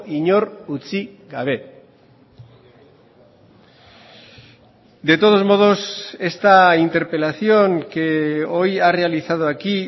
inor utzi gabe de todos modos esta interpelación que hoy ha realizado aquí